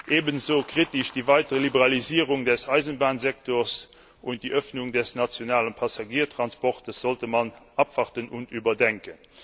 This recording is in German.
Ebenso kritisch ist die weitere Liberalisierung des Eisenbahnsektors, und die Öffnung des nationalen Passagiertransports sollte man abwarten und überdenken.